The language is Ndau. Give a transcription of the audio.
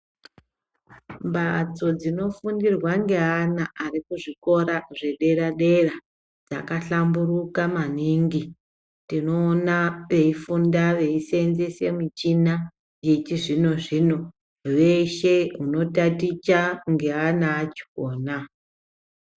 Mbatso dzinofundirwa ngeana arikuzvikora zvedera dera zvakahlamburuka maningi, tinowona beyifunda beyisenzese michina yechizvino zvino, veshe vanotaticha ngeana achona.